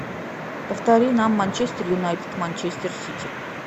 повтори нам манчестер юнайтед манчестер сити